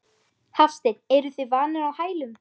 Hafsteinn: Eruð þið vanir á hælum?